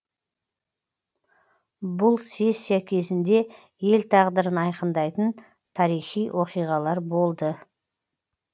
бұл сессия кезінде ел тағдырын айқындайтын тарихи оқиғалар болды